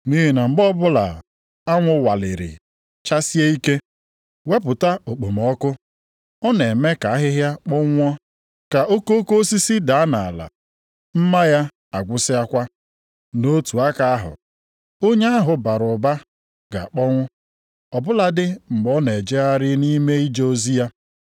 Nʼihi na mgbe ọbụla anwụ waliri chasie ike, wepụta okpomọkụ, ọ na-eme ka ahịhịa kpọnwụọ, ka okoko osisi daa nʼala, mma ya agwụsịakwa. Nʼotu aka ahụ, onye ahụ bara ụba ga-akpọnwụ ọ bụladị mgbe ọ na-ejegharị nʼime ije ozi ya.